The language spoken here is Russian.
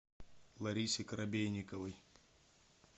ларисе коробейниковой